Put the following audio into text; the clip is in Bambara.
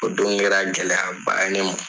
O don kɛra gɛlɛyaba ye ne ma.